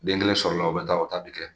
Den kelen sɔrɔla o bi taa o ta bi kɛ.